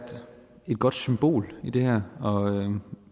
godt symbol i det her og